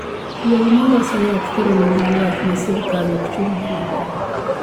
Duol ma loso yath koro ni gi ywak ne sirkal okchul gi maber